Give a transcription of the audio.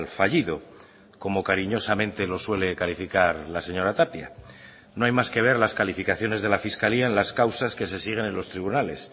fallido como cariñosamente lo suele calificar la señora tapia no hay más que ver las calificaciones de la fiscalía en las causas que se siguen en los tribunales